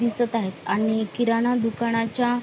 दिसत आहेत आणि किराणा दुकानाच्या--